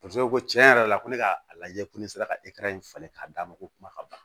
Paseke ko tiɲɛ yɛrɛ la ko ne ka a lajɛ ko ne sera ka falen k'a d'a ma ko kuma ka ban